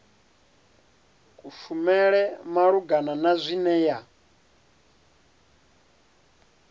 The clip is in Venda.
kushumele malugana na zwine ya